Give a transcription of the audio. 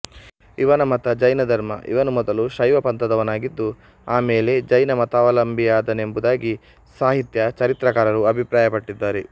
ಇವನ ಮತ ಜೈನ ಧರ್ಮ ಇವನು ಮೊದಲು ಶೈವ ಪಂಥದವನಾಗಿದ್ದು ಆಮೇಲೆ ಜೈನ ಮತಾವಲಂಭಿಯಾದನೆಂಬುದಾಗಿ ಸಾಹಿತ್ಯ ಚರಿತ್ರಕಾರರು ಅಭಿಪ್ರಾಯಪಟ್ಟಿದ್ದಾರೆ